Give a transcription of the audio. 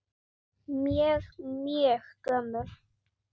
Mjög, mjög gömul.